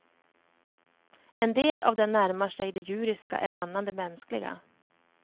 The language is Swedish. En del av den närmar sig det djuriska, en annan det mänskliga.